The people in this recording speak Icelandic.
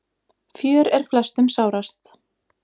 Fjör er flestum sárast.